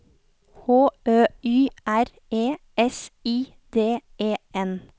H Ø Y R E S I D E N